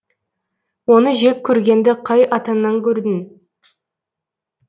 оны жек көргенді қай атаңнан көрдің